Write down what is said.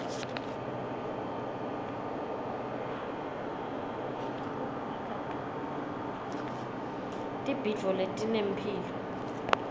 tibhidvo tinemphilo